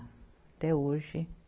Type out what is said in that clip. Até hoje.